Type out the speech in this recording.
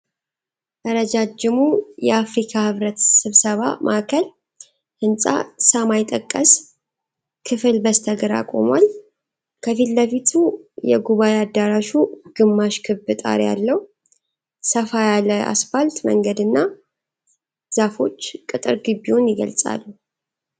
ረጃጅሙ የአፍሪካ ህብረት ስብሰባ ማዕከል ህንፃ ሰማይ ጠቀስ ክፍል በስተ ግራ ቆሟል። ከፊት ለፊቱ የጉባዔ አዳራሹ ግማሽ ክብ ጣሪያ አለው፤ ሰፋ ያለ አስፋልት መንገድና ዛፎች ቅጥር ግቢውን ይገልጻሉ።